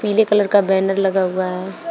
पीले कलर का बैनर लगा हुआ है।